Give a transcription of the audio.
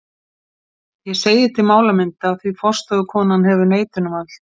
Ég segi til málamynda, því forstöðukonan hefur neitunarvald.